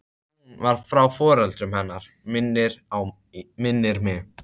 Hún var frá foreldrum hennar minnir mig.